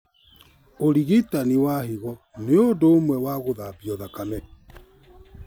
ũrigitani wa higo nĩ ũmwe na gũthambio thakame